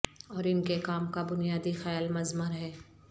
اور ان کے کام کا بنیادی خیال مضمر ہے